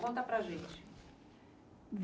Conta para a gente.